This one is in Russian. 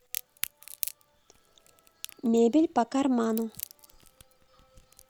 мебель по карману